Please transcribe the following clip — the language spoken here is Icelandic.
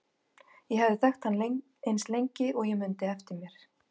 Ég hafði þekkt hann eins lengi og ég mundi eftir mér.